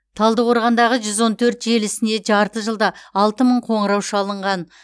талдықорғандағы жүз он төрт желісіне жарты жылда алты мың қоңырау шалынған